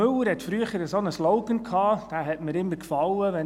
Müller hatte früher einen Slogan, wenn er zu den Wahlen antrat.